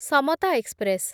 Samata express